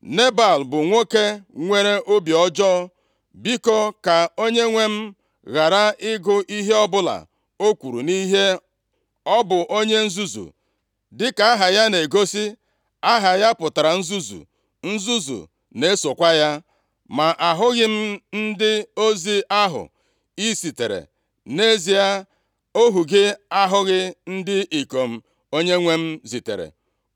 Nebal bụ nwoke nwere obi ọjọọ, biko ka onyenwe m ghara ịgụ ihe ọbụla o kwuru nʼihe. Ọ bụ onye nzuzu, dịka aha ya na-egosi. Aha ya pụtara nzuzu, nzuzu na-esokwa ya. Ma ahụghị m ndị ozi ahụ i zitere, nʼezie ohu gị ahụghị ndị ikom onyenwe m zitere.